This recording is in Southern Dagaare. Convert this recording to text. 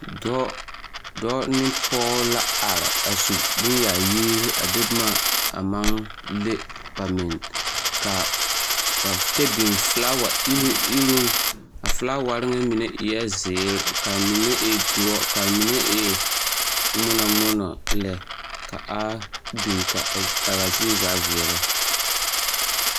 Dɔɔ dɔɔ ne pɔge la are a su bonyaayirii a de boma a maŋ le ba minne kaa kyɛ biŋ filaawa iruŋ iruŋ a filaaware nyɛ mine eɛɛ zeere kaa mine e doɔ kaa mine e ŋmono ŋmono lɛ ka a biŋ kaa zie zaa veɛlɛ.